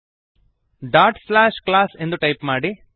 class dot slash class ಎಂದು type ಮಾಡಿರಿ